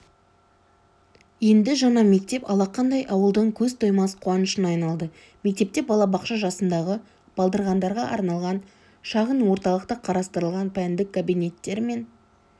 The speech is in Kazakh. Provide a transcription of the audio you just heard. енді жаңа мектеп алақандай ауылдың көз тоймас қуанышына айналды мектепте балабақша жасындағы балдырғандарға арналған шағын орталық та қарастырылған пәндік кабинеттер мен